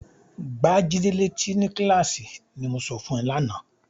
"Gbá Jídé létí ni kíláàsì", ní mo sọ fún ẹ lánàá.